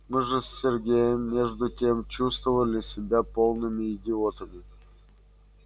мы же с сергеем между тем чувствовали себя полными идиотами